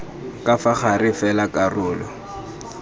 ka fa gare fela karolo